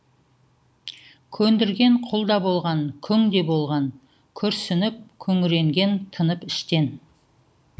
көндірген құл да болған күң де болған күрсініп күңіренген тынып іштен